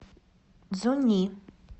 цзуньи